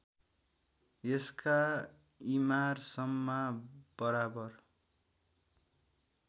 यसका इमारसम्मा बराबर